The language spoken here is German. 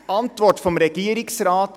Die Antwort des Regierungsrates: